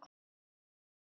Er ég góð?